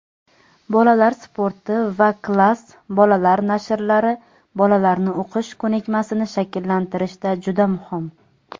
"Bolalar sporti" va "Klass" bolalar nashrlari bolalarni o‘qish ko‘nikmasini shakllantirishda juda muhim.